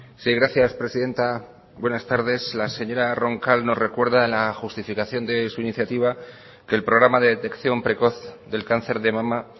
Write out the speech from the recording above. sí gracias presidenta buenas tardes la señora roncal nos recuerda la justificación de su iniciativa que el programa de detección precoz del cáncer de mama